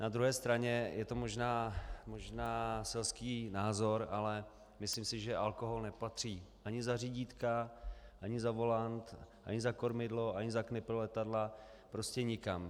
Na druhé straně, je to možná selský názor, ale myslím si, že alkohol nepatří ani za řidítka, ani za volant, ani za kormidlo, ani za knipl letadla, prostě nikam.